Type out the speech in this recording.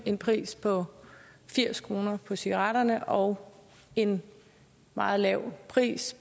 en pris på firs kroner på cigaretterne og en meget lav pris